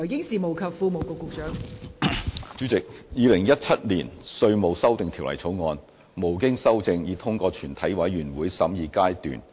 代理主席，《2017年稅務條例草案》無經修正已通過全體委員會審議階段。